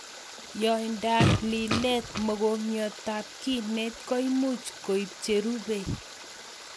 Yaindop lilet mokongiotab kinet koimuch koip cherubei